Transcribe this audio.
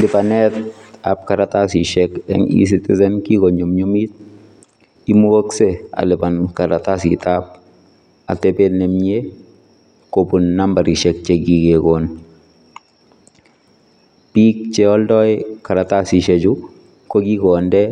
Libanetab kartasisiek eng eCitizen kikonyumnyumit imugakse aliban karatasitab atebet nemie kobun nambarisiek chekikekon. Biik cheoldoi karatasisiek chu kokikonde